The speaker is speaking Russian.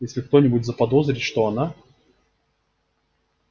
и если кто-нибудь заподозрит что она